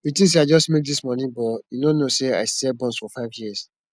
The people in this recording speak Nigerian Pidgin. you think say i just make dis money but you no know say i sell buns for five years